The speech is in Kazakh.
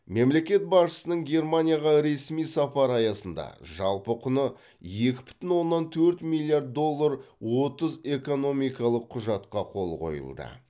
мемлекет басшысының германияға ресми сапары аясында жалпы құны екі бүтін оннан төрт миллиард доллар отыз экономикалық құжатқа қол қойылды